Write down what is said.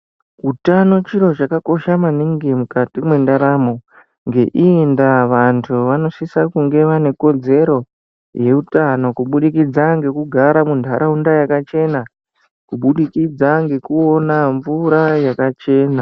Utano chiro chakakosha maningi mukati mwendaramo ngeiyi nda vanu vamosisa kunge vane kodzero yeutano kuburikidza ngekugara mundaraunda yakachena kubudikidza ngekuona mvura yakachena.